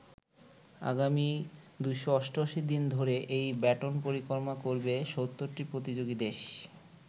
আগামী ২৮৮ দিন ধরে এই ব্যাটন পরিক্রমা করবে ৭০টি প্রতিযোগী দেশ।